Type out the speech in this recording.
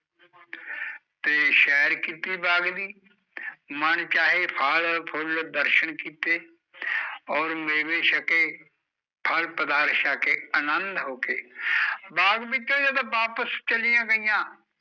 ਤੇ ਸ਼ੈਰ ਕੀਤੀ ਬਾਗ਼ ਦੀ ਮਨ ਚਾਹੇ ਫਲ ਫੁਲ ਦਰਸ਼ਨ ਕੀਤੇ ਓਰ ਮੇਵੇ ਛਕੇ ਫਲ ਪਧਾਰਥ ਛਕੇ ਅਨੰਦ ਹੋਕੇ ਬਾਗ਼ ਵਿੱਚੋਂ ਜਦੋਂ ਵਾਪਿਸ ਚਲੀਆ ਗਈਆ